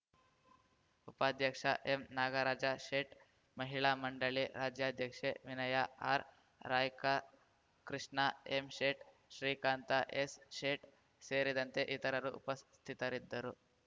ಉಪಾಧ್ಯಕ್ಷ ಎಂ ನಾಗರಾಜ ಶೇಟ್‌ ಮಹಿಳಾ ಮಂಡಳಿ ರಾಜ್ಯಾಧ್ಯಕ್ಷೆ Vinaya R Raika Krishna M Shet Srikanth S Shet ಸೇರಿದಂತೆ ಇತರರು ಉಪಸ್ಥಿತರಿದ್ದರು